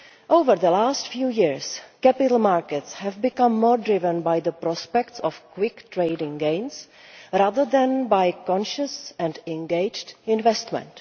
Over the last few years capital markets have become more driven by the prospect of quick trading gains rather than by conscious and engaged investment.